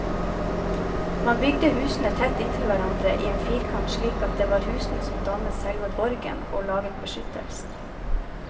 Man bygde husene tett inntil hverandre i en firkant, slik at det var husene som dannet selve borgen og laget beskyttelsen.